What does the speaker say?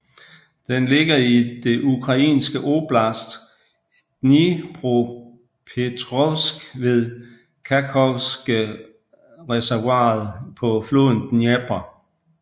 Den ligger i det ukrainske oblast Dnipropetrovsk ved Kakhovskereservoiret på floden Dnepr